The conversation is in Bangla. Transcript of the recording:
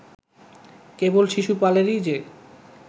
কেবল শিশুপালেরই যে